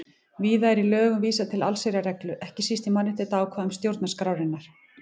Víða er í lögum vísað til allsherjarreglu, ekki síst í mannréttindaákvæðum stjórnarskrárinnar.